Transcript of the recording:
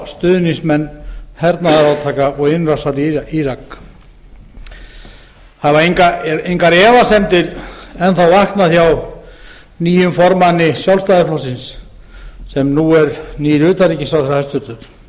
stuðningsmenn hernaðarátaka og innrásar í írak hafa engar efasemdir enn þá vaknað hjá nýjum formanni sjálfstæðisflokksins sem nú er nýr utanríkisráðherra hæstvirtur